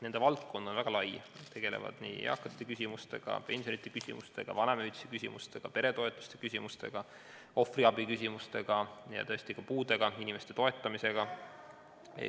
Nende valdkond on väga lai, nad tegelevad nii eakate küsimustega, pensionite küsimustega, vanemahüvitise küsimustega, peretoetuste küsimustega, ohvriabiküsimustega kui ka tõesti puudega inimeste toetamisega.